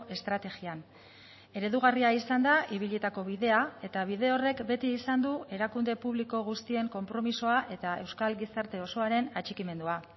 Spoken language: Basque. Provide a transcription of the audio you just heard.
estrategian eredugarria izan da ibilitako bidea eta bide horrek beti izan du erakunde publiko guztien konpromisoa eta euskal gizarte osoaren atxikimendua